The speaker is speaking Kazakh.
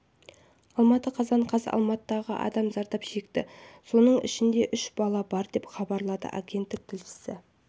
алматы қазан қаз алматыдағы адам зардап шекті соның ішінде үш бала бар деп хабарлады агенттік тілшісі